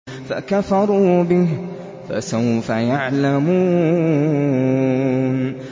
فَكَفَرُوا بِهِ ۖ فَسَوْفَ يَعْلَمُونَ